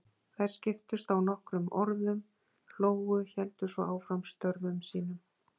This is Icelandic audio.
Þær skiptust á nokkrum orðum, hlógu, héldu svo áfram störfum sínum.